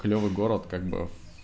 клёвый город как бы